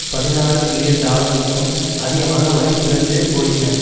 பதினாறு மில்லியன் டாலர்களுக்கும் அதிகமாக மதிப்பிழந்து போயின